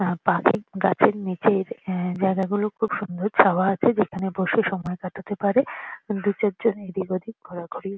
আর পাখির গাছের নিচের এহঃ জায়গাগুলো খুব সুন্দর ছায়া আছে যেখানে বসে সময় কাটাতে পারে দুচারজন এদিকওদিক ঘোরাঘুরি--